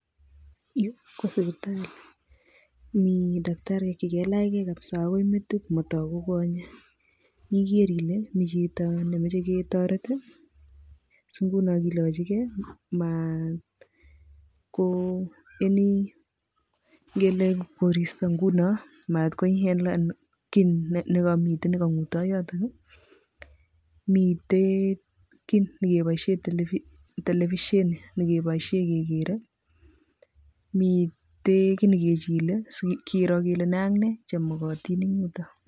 Yuu ko sipitali mii takitariek chekalachke kabisaa akoi metit motoku konyek, iker ilee miten chito nemoche ketoret, so ng'unon kilocheke maat ko any ng'ele koristo ng'unon maat ko inhelen kii nekomiten nekong'uto yotok, miten kii nekeboishen televisheni nekeboishe kekere, miten kii nekechile sikiro kelee ne ak ne chemokotin eng' yuton.